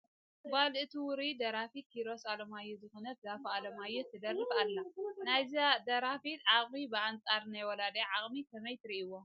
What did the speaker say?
ጓል እቲ ውሩይ ደራፊ ኪሮስ ኣለማዮህ ዝኾነት ዛፉ ኣለማዮህ ትደርፍ ኣላ፡፡ ናይዛ ደራፊት ዓቕሚ ብኣንፃር ናይ ወላዲኣ ዓቕሚ ከመይ ትርእይዎ?